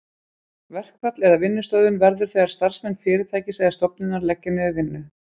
Verkfall eða vinnustöðvun verður þegar starfsmenn fyrirtækis eða stofnunar leggja niður vinnu.